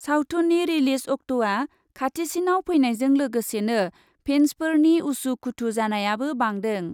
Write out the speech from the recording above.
सावथुननि रिलिज अक्ट'आ खाथिसिनाव फैनायजों लोगोसेनो फेन्सफोरनि उसु खुथु जानायाबो बांदों।